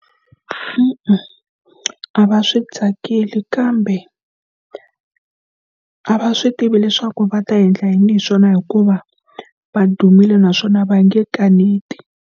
E-e, a va swi tsakeli kambe a va swi tivi leswaku va ta endla yini hi swona hikuva va dumile naswona va nge kaneti.